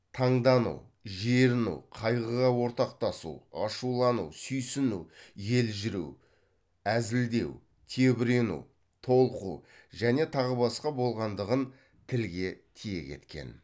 таңдану жеріну қайғыға ортақтасу ашулану сүйсіну елжіреу әзілдеу тебірену толқу және тағы басқа болғандығын тілге тиек еткен